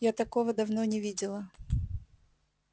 я такого давно не видела